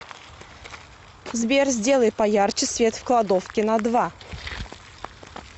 сбер сделай поярче свет в кладовке на два